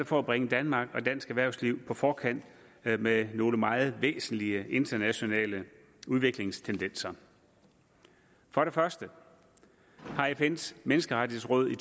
for at bringe danmark og dansk erhvervsliv på forkant med nogle meget væsentlige internationale udviklingstendenser for det første har fns menneskerettighedsråd